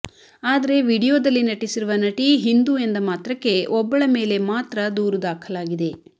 ಆದರೆ ವಿಡಿಯೋ ದಲ್ಲಿ ನಟಿಸಿರುವ ನಟಿ ಹಿಂದೂ ಎಂದ ಮಾತ್ರಕ್ಕೆ ಒಬ್ಬಳ ಮೇಲೆ ಮಾತ್ರ ದೂರು ದಾಖಲಾಗಿದೆ